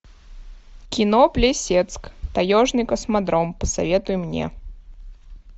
кино плесецк таежный космодром посоветуй мне